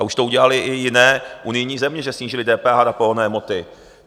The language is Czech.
A už to udělaly i jiné unijní země, že snížily DPH na pohonné hmoty.